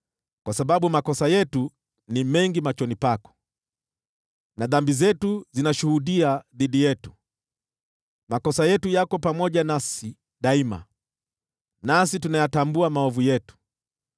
Kwa sababu makosa yetu ni mengi machoni pako, na dhambi zetu zinashuhudia dhidi yetu. Makosa yetu yako pamoja nasi daima, nasi tunayatambua maovu yetu: